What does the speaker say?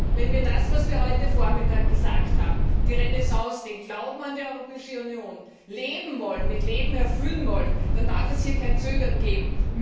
Wenn wir das, was wir heute Vormittag gesagt haben, die Renaissance, den Glauben an die Europäische Union, mit Leben erfüllen wollen, dann darf es hier kein Zögern geben.